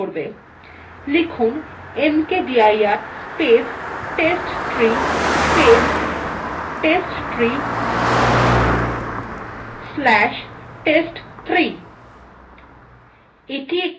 লিখুন mkdir space testtree space testtree slash test3